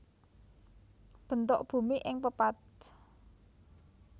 Bentuk Bumi ing Pepatf